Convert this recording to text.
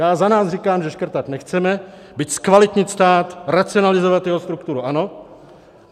Já za nás říkám, že škrtat nechceme, byť zkvalitnit stát, racionalizovat jeho strukturu ano.